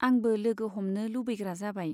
आंबो लोगो हमनो लुबैग्रा जाबाय।